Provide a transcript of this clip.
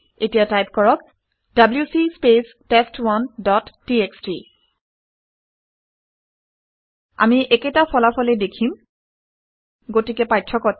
এতিয়া টাইপ কৰক - W C spec test one dot TXT আমি একেটা ফলকে ফলাফলেই দেখিম গতিকে পাৰ্থক্যটো কি